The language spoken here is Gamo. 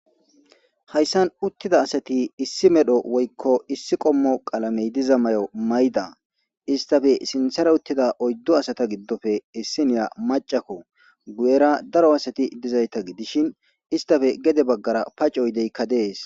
Hayssan uttida asati issi medho woykko issi qommo qaalamey diza may'o mayda istafe sinthara uttida oyddo asata giddofe essiniya macakko guyera daro asati dizayta gidishin istafe gede baggara pacoydeykka dees